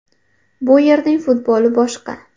Bu yerning futboli boshqa.